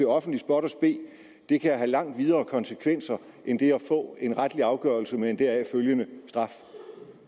offentlig spot og spe det kan have langt videre konsekvenser end det at få en retlig afgørelse med en deraf følgende straf